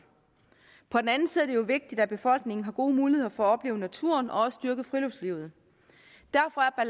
på den anden side er det jo vigtigt at befolkningen har gode muligheder for at opleve naturen og også dyrke friluftslivet derfor er